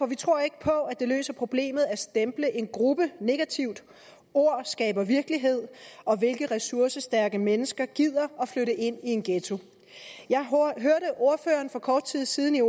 vi tror ikke på at det løser problemet at stemple en gruppe negativt ord skaber virkelighed og hvilke ressourcestærke mennesker gider at flytte ind i en ghetto jeg hørte ordføreren for kort tid siden i